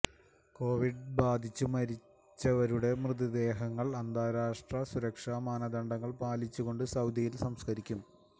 Covid ബാധിച്ചു മരണപ്പെട്ടവരുടെ മൃതദേഹങ്ങള് അന്താരാഷ്ട്ര സുരക്ഷാ മാനദണ്ഡങ്ങള് പാലിച്ചു കൊണ്ട് സൌദിയില് സംസ്കരിക്കും